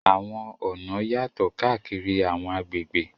Àwọn ọ̀nà yàtọ̀ káàkiri àwọn agbègbè.